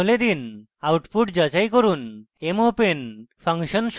এখন mopen function সম্পর্কে দেখি: